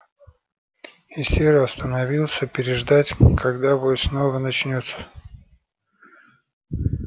и серый остановился переждать когда вой снова начнётся